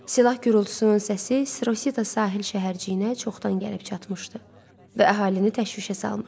Silah gurultusunun səsi Sirosita sahil şəhərciyinə çoxdan gəlib çatmışdı və əhalini təşvişə salmışdı.